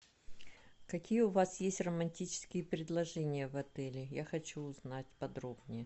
какие у вас есть романтические предложения в отеле я хочу узнать подробнее